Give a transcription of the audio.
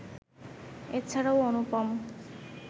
এছাড়াও অনুপম